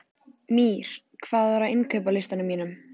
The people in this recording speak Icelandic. Mír, hvað er á innkaupalistanum mínum?